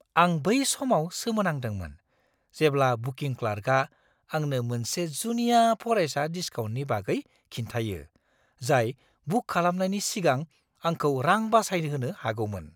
आं बै समाव सोमोनांदोंमोन जेब्ला बुकिं क्लार्कआ आंनो मोनसे जुनिया फरायसा डिस्काउन्टनि बागै खिन्थायो जाय बुक खालामनायनि सिगां आंखौ रां बासायहोनो हागौमोन।